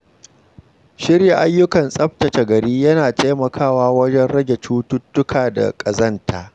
Shirya ayyukan tsaftace gari yana taimakawa wajen rage cututtuka da ƙazanta.